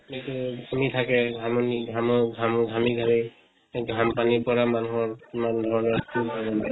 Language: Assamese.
সেইটোয়ে। ঘামি থাকে ঘামনি ঘামৰ ঘামু ঘামি ঘামি সেই ঘাম পানীৰ পৰা মানুহৰ কিমান ধৰণৰ